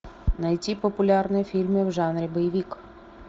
найти популярные фильмы в жанре боевик